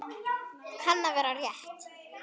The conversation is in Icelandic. Kann að vera rétt.